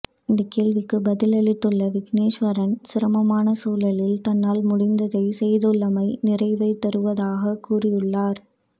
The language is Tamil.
இந்த கேள்விக்கு பதிலளித்துள்ள விக்னேஸ்வரன் சிரமமான சூழலில் தன்னால் முடிந்ததைச் செய்துள்ளமை நிறைவை தருவதாக கூறியுள்ளார்